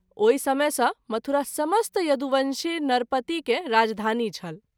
ओहि समय सँ मथुरा समस्त यदुवंशी नरपति के राजधानी छल।